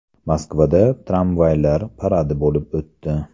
Moskvada tramvaylar paradi bo‘lib o‘tdi .